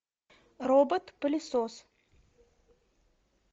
робот пылесос